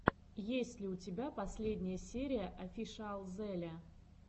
есть ли у тебя последняя серия офишиалзеле